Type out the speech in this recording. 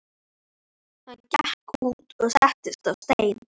Hann gekk út og settist á stein.